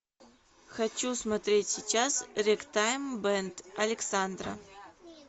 хочу смотреть сейчас рэгтайм бэнд александра